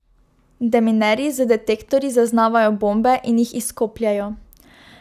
Deminerji z detektorji zaznavajo bombe in jih izkopljejo.